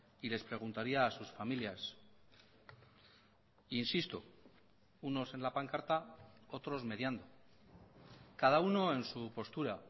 y les preguntaría a sus familias insisto unos en la pancarta otros mediando cada uno en su postura